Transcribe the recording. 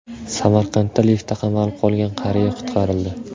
Samarqandda liftda qamalib qolgan qariya qutqarildi.